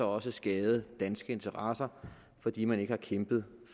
også skadet danske interesser fordi man ikke har kæmpet